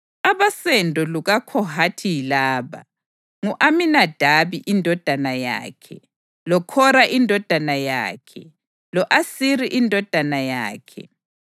Abosendo lukaKhohathi yilaba: ngu-Aminadabi indodana yakhe, loKhora indodana yakhe, lo-Asiri indodana yakhe,